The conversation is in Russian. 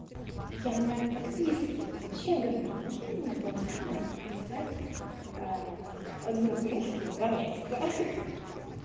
я не о подписке я вообще говорю можно мне пол ляма и писать одну книжку два месяца ха-ха-ха